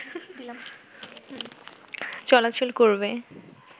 চলাচল করবে